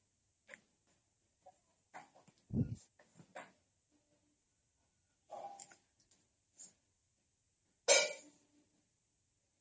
noise